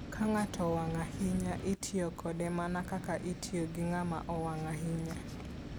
Ka ng'ato owang' ahinya, itiyo kode mana kaka itiyo gi ng'ama owang' ahinya.